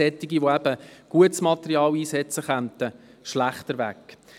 Anbieter, die gutes Material einsetzen, kämen damit schlechter weg.